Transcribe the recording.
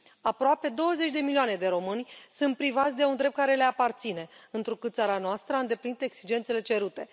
Aproape douăzeci de milioane de români sunt privați de un drept care le aparține, întrucât țara noastră a îndeplinit exigențele cerute.